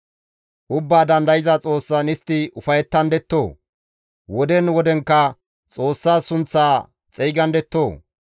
Ubbaa Dandayza Xoossan istti ufayettandettoo? Woden wodenkka Xoossa sunththa xeygandettoo?